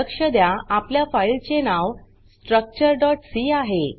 लक्ष द्या आपल्या फाइल चे नाव structureसी आहे